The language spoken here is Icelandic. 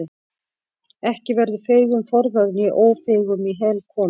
Ekki verður feigum forðað né ófeigum í hel komið.